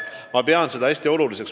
Ma pean seda hästi oluliseks.